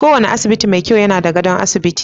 Kowane asibiti mai kyau yana da gadon asibiti.